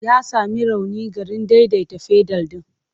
Ya sami rauni garin daidaita fedal ɗin.